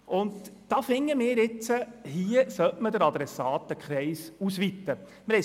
Wir sind deshalb der Meinung, dass man den Adressatenkreis ausweiten müsste.